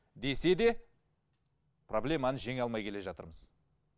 десе де проблеманы жеңе алмай келе жатырмыз